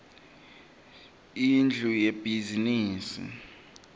indlu yebhizimisi